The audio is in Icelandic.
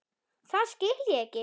Það skil ég ekki.